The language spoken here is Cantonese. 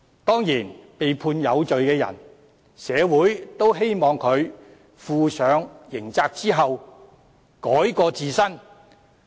當然，對於被判有罪的人，社會也希望他們在負上刑責後改過自新。